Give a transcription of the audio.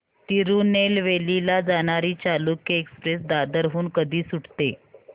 तिरूनेलवेली ला जाणारी चालुक्य एक्सप्रेस दादर हून कधी सुटते